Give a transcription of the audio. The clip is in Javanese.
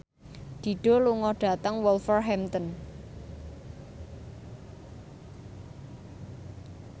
Dido lunga dhateng Wolverhampton